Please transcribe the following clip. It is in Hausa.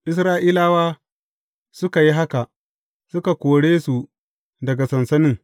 Isra’ilawa suka yi haka; suka kore su daga sansanin.